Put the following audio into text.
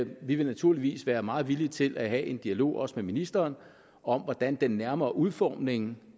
vi vil naturligvis være meget villige til at have en dialog også med ministeren om hvordan den nærmere udformning